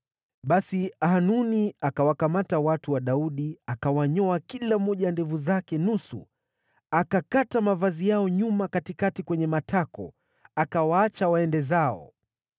Basi Hanuni akawakamata watu wa Daudi, akawanyoa kila mmoja ndevu zake nusu, akakata mavazi yao nyuma katikati kwenye matako, akawaacha waende zao.